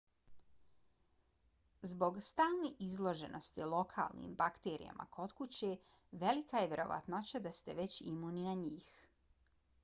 zbog stalne izloženosti lokalnim bakterijama kod kuće velika je vjerovatnoća da ste već imuni na njih